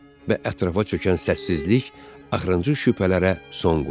Və ətrafa çökən səssizlik axırıncı şübhələrə son qoydu.